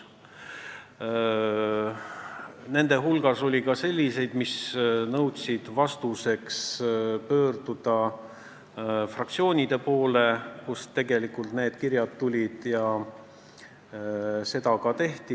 Nende küsimuste hulgas oli ka selliseid, millele vastuse saamiseks tuli pöörduda fraktsioonide poole, kust need kirjad tegelikult tulid, ja seda ka tehti.